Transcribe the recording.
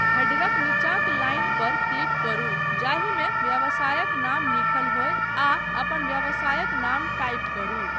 हेडरक नीचाँक लाइन पर क्लिक करू जाहिमे व्यवसायक नाम लिखल होय आ अपन व्यवसायक नाम टाइप करू।